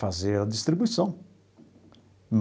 fazer a distribuição.